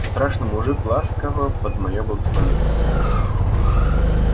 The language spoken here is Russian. страшный мужик ласково под моё благословение